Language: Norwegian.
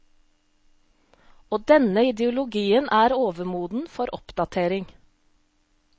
Og denne ideologien er overmoden for oppdatering.